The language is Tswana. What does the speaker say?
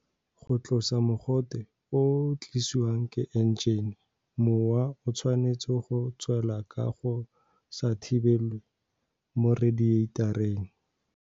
Go tlosa mogote o o tliswang ke enjene, mowa o tshwanetse go tswelela ka go sa thibelelwe mo redieitareng.